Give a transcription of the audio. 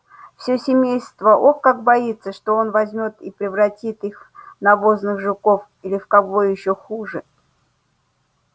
все семейство ох как боится что он возьмёт и превратит их в навозных жуков или в кого ещё хуже